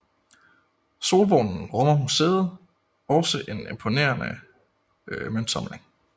Solvognen rummer museet også en imponerende møntsamling